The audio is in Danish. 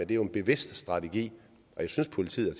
det er jo en bevidst strategi og jeg synes at politiet